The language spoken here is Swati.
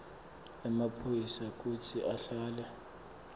emaphoyisa kutsi ahlale